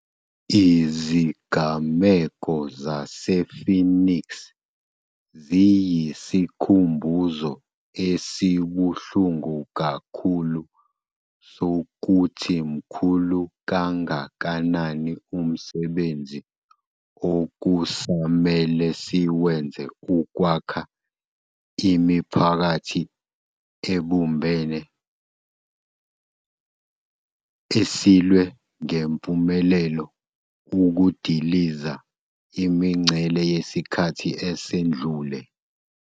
Izigameko zase-Phoenix ziyisikhumbuzo esibuhlungu kakhulu sokuthi mkhulu kangakanani umsebenzi okusamele siwenze ukwakha imiphakathi ebumbene esilwe ngempumelelo ukudiliza imingcele yesikhathi esedlule.